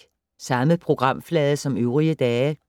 Samme programflade som øvrige dage